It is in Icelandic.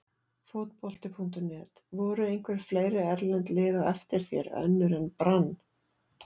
Fótbolti.net: Voru einhver fleiri erlend lið á eftir þér, önnur en Brann?